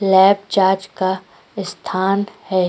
Lab charge का स्थान है।